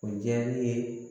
O diyara ne ye